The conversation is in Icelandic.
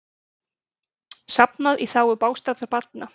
Safnað í þágu bágstaddra barna